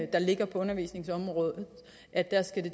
der ligger på undervisningsområdet at det